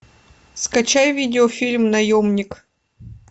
скачай видео фильм наемник